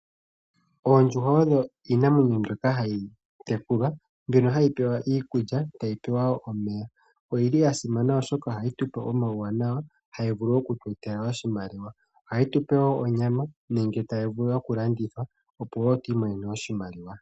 Oondjuhwa odho iinamwenyo mbyoka hayi tekulwa, mbyono hayi pewa iikulya, tayi pewa wo omeya. Oyili ya simana oshoka ohayi tupe omauwanawa, hayi vulu okutu etela oshimaliwa. Ohayi tupe wo onyama, nenge tayi vulu oku landithwa opo wo tu imonene oshimaliwa.